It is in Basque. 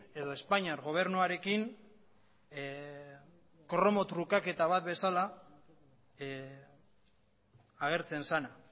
edo espainiar gobernuarekin kromo trukaketa bat bezala agertzen zena